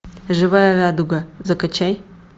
живая радуга закачай